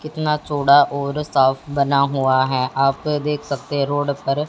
कितना चौड़ा और साफ बना हुआ है आप देख सकते है रोड पर।